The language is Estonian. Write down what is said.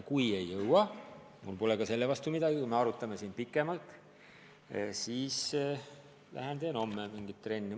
Kui ei jõua – mul pole ka selle vastu midagi, kui me arutame siin pikemalt –, siis lähen teen homme mingit trenni.